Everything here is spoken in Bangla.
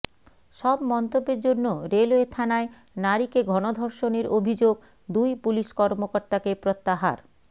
সব মন্তব্যের জন্য রেলওয়ে থানায় নারীকে গণধর্ষণের অভিযোগ দুই পুলিশ কর্মকর্তাকে প্রত্যাহার